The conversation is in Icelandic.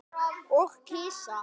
Og kisa.